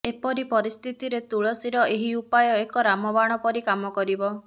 ଏପରି ପରିସ୍ଥିତିରେ ତୁଳସୀର ଏହି ଉପାୟ ଏକ ରାମବାଣ ପରି କାମ କରିବ